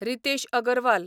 Ritesh Agarwal